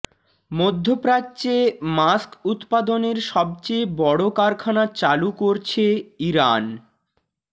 মধ্যপ্রাচ্যে মাস্ক উৎপাদনের সবচেয়ে বড় কারখানা চালু করছে ইরান